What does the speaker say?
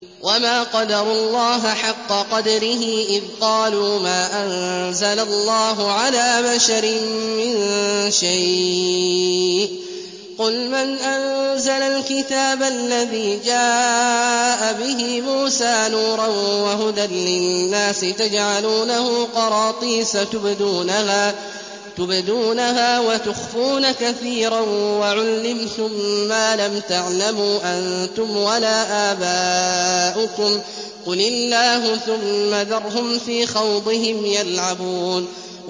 وَمَا قَدَرُوا اللَّهَ حَقَّ قَدْرِهِ إِذْ قَالُوا مَا أَنزَلَ اللَّهُ عَلَىٰ بَشَرٍ مِّن شَيْءٍ ۗ قُلْ مَنْ أَنزَلَ الْكِتَابَ الَّذِي جَاءَ بِهِ مُوسَىٰ نُورًا وَهُدًى لِّلنَّاسِ ۖ تَجْعَلُونَهُ قَرَاطِيسَ تُبْدُونَهَا وَتُخْفُونَ كَثِيرًا ۖ وَعُلِّمْتُم مَّا لَمْ تَعْلَمُوا أَنتُمْ وَلَا آبَاؤُكُمْ ۖ قُلِ اللَّهُ ۖ ثُمَّ ذَرْهُمْ فِي خَوْضِهِمْ يَلْعَبُونَ